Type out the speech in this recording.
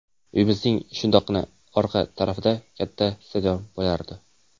Uyimizning shundoqqina orqa tarafida katta stadion bo‘lardi.